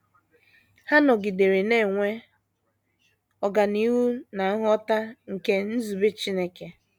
Ha nọgidere na - enwe ọganihu ná nghọta ha nke nzube Chineke.